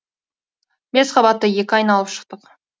бес қабатты екі айналып шықтық